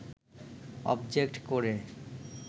object কোডে